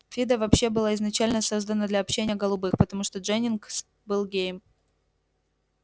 фидо вообще была изначально создана для общения голубых потому что дженнингс был геем